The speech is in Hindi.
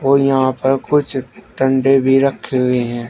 और यहां पर कुछ डंडे भी रखे हुए हैं।